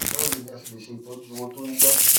báwo ni a ṣe lè se itoju irun to n ja